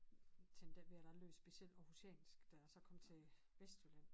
Tænkte ik over jeg lød specielt Aarhusiansk da jeg så kom til Vestjylland